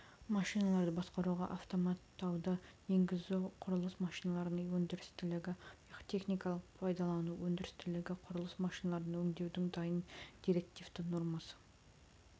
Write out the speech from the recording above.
машиналарды басқаруға автоматтауды енгізу құрылыс машиналарының өндірістілігі техникалық пайдалану өндірістілігі құрылыс машиналарын өңдеудің дайын директивті нормасы